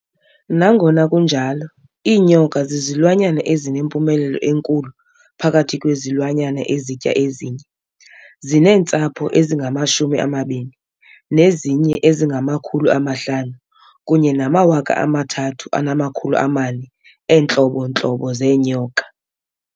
Nangona kunjalo, iinyoka zizilwanyana ezinempumelelo enkulu phakathi kwezilwanyana ezitya ezinye, zineentsapho ezingama-20, nezinye ezingama500 kunye nama-and 3,400 eentlobo ntlobo zeenyoka.